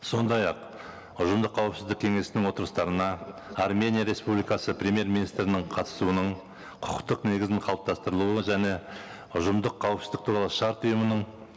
сондай ақ ұжымдық қауіпсіздік кеңесінің отырыстарына армения республикасы премьер министрінің қатысуының құқықтық негізін қалыптастырылуы және ұжымдық қауіпсіздік туралы шарт ұйымының